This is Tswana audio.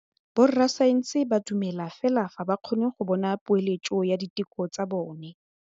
Borra saense ba dumela fela fa ba kgonne go bona poeletsô ya diteko tsa bone.